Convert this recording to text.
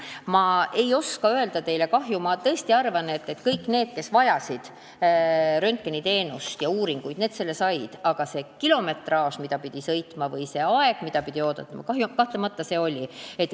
Ma ei oska öelda teile kahju suurust, ma tõesti arvan, et kõik need, kes vajasid röntgeniteenust ja uuringuid, need neid said, aga see kilometraaž, mis tuli läbi sõita, oli kahtlemata suur, või see aeg, kui kaua pidi ootama, oli kahtlemata pikk.